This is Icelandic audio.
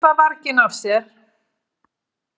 Hlaupa varginn af sér.